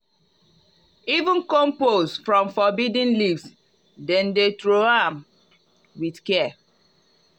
even compost from forbidden leaves dem dey throw am with care.